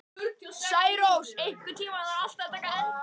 Særós, einhvern tímann þarf allt að taka enda.